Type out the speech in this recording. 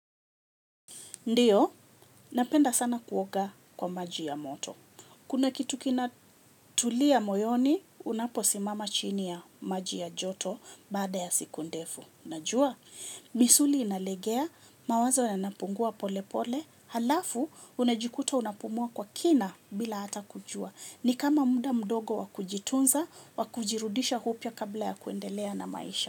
Ndiyo, napenda sana kuoga kwa maji ya moto. Kuna kitu kinatulia moyoni, unaposimama chini ya maji ya joto baada ya siku ndefu. Najua, misuli inalegea, mawazo yanapungua pole pole, halafu, unajikuta unapumua kwa kina bila hata kujua. Ni kama muda mdogo wa kujitunza, wa kujirudisha upya kabla ya kuendelea na maisha.